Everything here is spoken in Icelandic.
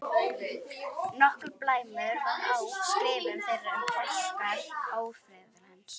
Nokkur blæmunur var á skrifum þeirra um orsakir ófriðarins.